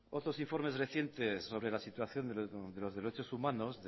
otros informes recientes sobre la situación de los derechos humanos